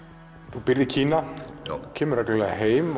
þú býrð í Kína kemur reglulega heim